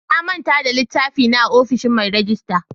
Na manta da littafi na a ofishin mai rejista.